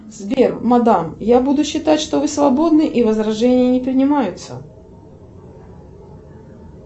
сбер мадам я буду считать что вы свободны и возражения не принимаются